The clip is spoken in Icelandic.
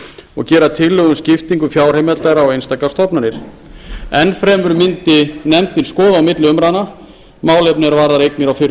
og gera tillögu um skiptingu fjárheimilda á einstaka stofnanir enn fremur mundi nefndin skoða á milli umræðna málefni er varða eignir á fyrrum